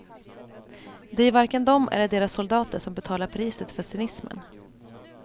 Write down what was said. Det är ju varken de eller deras soldater som betalar priset för cynismen.